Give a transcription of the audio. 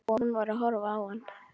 Sá að hún var að horfa á hann.